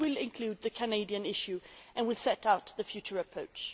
This will include the Canadian issue and will set out the future approach.